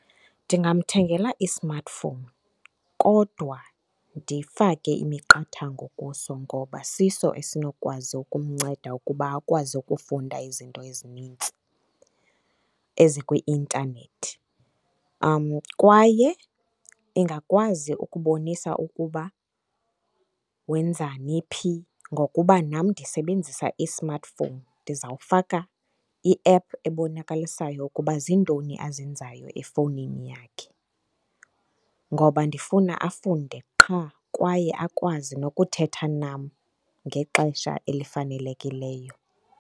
Ndingamthengela i-smartphone kodwa ndifake imiqathango kuso, ngoba siso esinokwazi ukumnceda ukuba akwazi ukufunda izinto ezinintsi ezikwi-intanethi. Kwaye ingakwazi ukubonisa ukuba wenzani phi ngokuba nam ndisebenzisa i-smartphone. Ndizawufaka i-app ebonakalisayo ukuba ziintoni azenzayo efowunini yakhe, ngoba ndifuna afunde qha kwaye akwazi nokuthetha nam ngexesha elifanelekileyo.